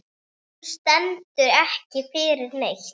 Hún stendur ekki fyrir neitt.